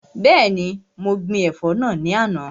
Bẹẹni, mo gbin ẹ̀fọ́ náà lánàá.